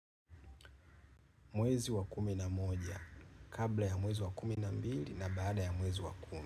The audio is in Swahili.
Mwezi wa kumi na moja, kabla ya mwezi wa kumi na mbili na baada ya mwezi wa kumi.